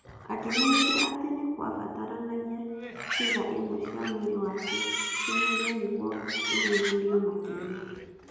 "Akĩmenyithio atĩ nĩ kwabataranagia ciĩga imwe cia mwĩrĩ wake ciehererio nĩguo ithuthurĩrio makĩria.